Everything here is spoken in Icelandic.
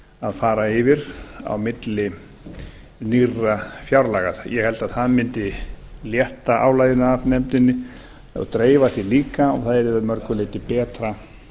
að fara yfir á milli nýrra fjárlaga ég held að það mundi létta álaginu af nefndinni og dreifa því líka og það yrði að mörgu leyti betra